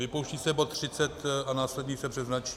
vypouští se bod 30 a následně se přeznačí.